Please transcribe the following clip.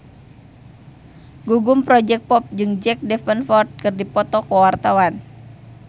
Gugum Project Pop jeung Jack Davenport keur dipoto ku wartawan